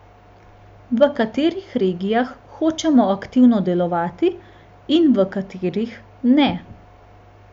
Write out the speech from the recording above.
V katerih regijah hočemo aktivno delovati in v katerih ne?